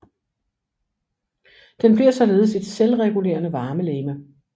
Den bliver således et selvregulerende varmelegeme